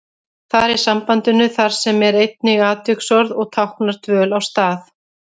Þar í sambandinu þar sem er einnig atviksorð og táknar dvöl á stað.